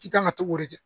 K'i kan ka to k'o de kɛ